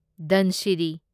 Dhansiri